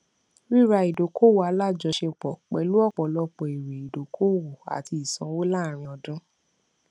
rírà ìdókòwò alájọṣepọ pẹlú ọpọlọpọ èrè idókòwò àti ìsanwó láàárín ọdún